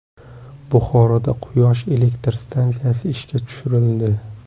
Buxoroda quyosh elektr stansiyasi ishga tushirildi .